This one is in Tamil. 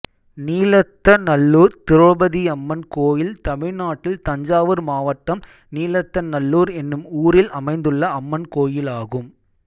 நீலத்தநல்லூர் திரௌபதியம்மன் கோயில் தமிழ்நாட்டில் தஞ்சாவூர் மாவட்டம் நீலத்தநல்லூர் என்னும் ஊரில் அமைந்துள்ள அம்மன் கோயிலாகும்